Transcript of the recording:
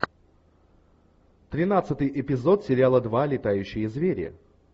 тринадцатый эпизод сериала два летающие звери